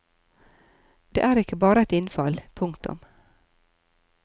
Det er ikke bare et innfall. punktum